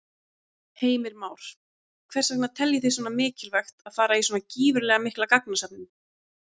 Heimir Már: Hvers vegna teljið þið svona mikilvægt að fara í svona gífurlega mikla gagnasöfnun?